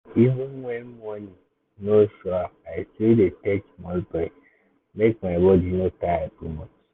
even when money no sure i still dey take small break make my body no tire too much.